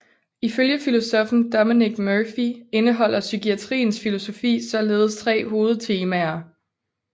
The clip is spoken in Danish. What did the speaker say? Ifølge filosoffen Dominic Murphy indeholder psykiatriens filosofi således tre hovedtemaer